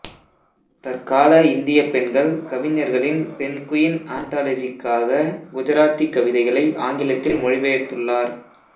தற்கால இந்திய பெண்கள் கவிஞர்களின் பெங்குயின் ஆன்டாலஜிக்காக குஜராத்தி கவிதைகளை ஆங்கிலத்தில் மொழிபெயர்த்துள்ளார்